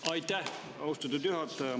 Aitäh, austatud juhataja!